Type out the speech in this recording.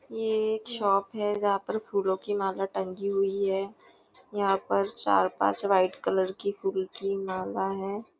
ये एक शॉप है जहाँ पर फुलों की माला टंगी हुई है यहाँ पर चार पांच व्हाइट कलर की फूल की माला है।